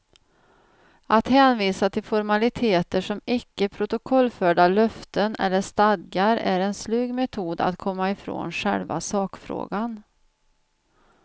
Att hänvisa till formaliteter som icke protokollförda löften eller stadgar är en slug metod att komma ifrån själva sakfrågan.